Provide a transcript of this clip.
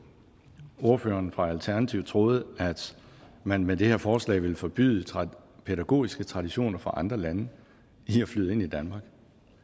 ordføreren for alternativet troede at man med det her forslag ville forbyde pædagogiske traditioner fra andre lande i at flyde ind i danmark